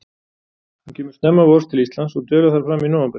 Hún kemur snemma vors til Íslands og dvelur þar fram í nóvember.